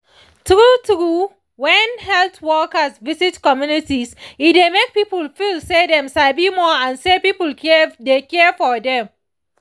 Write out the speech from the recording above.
true true when health workers visit communities e dey make people feel say dem sabi more and say people dey care for dem